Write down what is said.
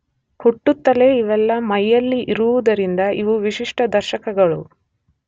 ಹುಟ್ಟುತ್ತಲೇ ಇವೆಲ್ಲ ಮೈಯಲ್ಲಿ ಇರುವುದರಿಂದ ಇವು ವಿಶಿಷ್ಟ ದರ್ಶಕಗಳು.